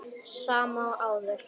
Sama og áður.